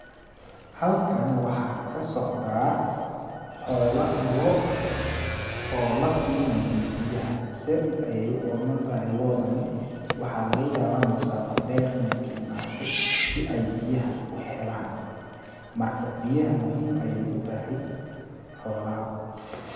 Halkani waxaa ka socdaa xoola lo' oo la siinayo biyaha ,zaaid ayeey u ooman tahay loodani ,waxaa laga yabaa masaafa dheer ineey ka imaate si ay biyahan u helaan ,marka biyaha muhiim ay u tahay xoolaha.